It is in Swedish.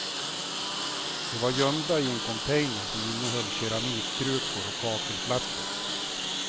De var gömda i en container som innehöll keramikkrukor och kakelplattor.